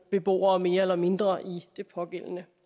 beboere mere eller mindre i det pågældende